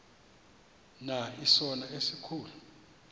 na isono esikhulu